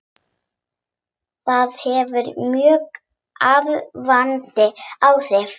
Það hefur mjög örvandi áhrif.